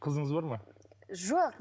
қызыңыз бар ма жоқ